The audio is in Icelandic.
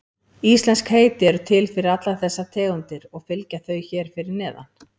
Íslensk heiti eru til fyrir allar þessar tegundir og fylgja þau hér fyrir neðan.